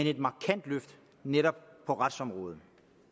et markant løft netop på retsområdet